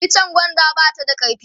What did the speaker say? itchen gwanda ba ta da karfi